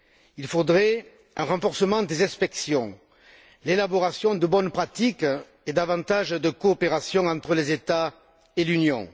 Il faudrait un renforcement des inspections, l'élaboration de bonnes pratiques et davantage de coopération entre les États et l'Union.